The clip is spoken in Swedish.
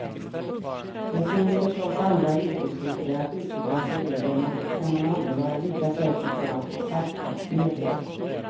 Det finns förstås andra yrkesgrupper att utgjuta sig över men då kan man aldrig vara lika säker på att få självklart medhåll.